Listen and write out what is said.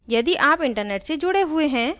यदि आप internet से जुड़े हुए है